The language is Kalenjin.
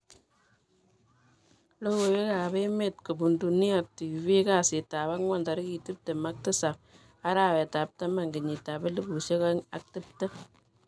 logoiwek ap emet kopuum DuniaTV kasiitap-angwan tarigit tiptem ak tisap arawet ap taman kenyitap elipusiek aeng ak tiptem